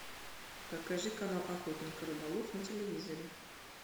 покажи канал охотник и рыболов на телевизоре